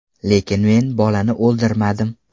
Lekin men bolani oldirmadim.